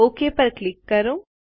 okay પર click કરો